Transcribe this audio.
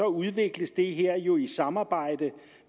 udvikles det her jo i samarbejde